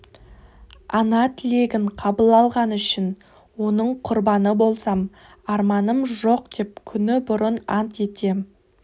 ана тілегін қабыл алғаны үшін оның құрбаны болсам арманым жоқ деп күні бұрын ант етем